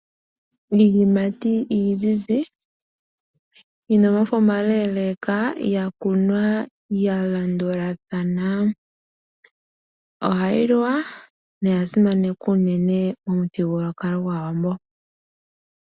Iiyimati iizizi yina omafo omakeleka, yakunwa yalandulathana. Ohayi liwa noyasimanekwa unene momuthigululwakalo gwAawambo.